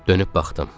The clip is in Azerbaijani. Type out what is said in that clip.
Dönüb baxdım.